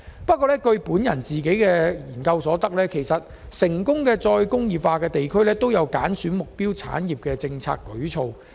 不過，我所進行的一項研究發現，成功的再工業化地區均有揀選目標產業的政策舉措。